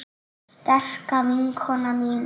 Sterka vinkona mín.